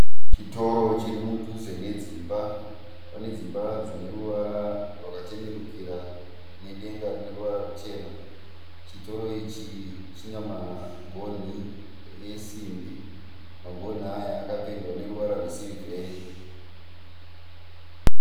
Chitoro chiri mudhuze nedzimba. Pane dzimba dzine ruvara rwaka chenukira nedenga rine ruvara ruchena. Chitoro ichi china magonhi esimbi. Magonhi aya akapendwa neruvara rwesirivheri